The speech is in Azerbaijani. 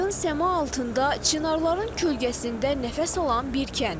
Aydın səma altında çınarların kölgəsində nəfəs alan bir kənd.